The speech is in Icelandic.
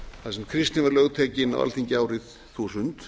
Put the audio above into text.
þar sem kristni var lögtekin á alþingi árið þúsund